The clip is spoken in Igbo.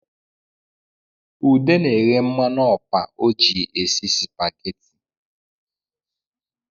Ude na-ehe mmanụ ọpa o ji esi spaghetti